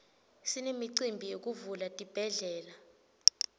sinemicimbi yekuvula tibhedlela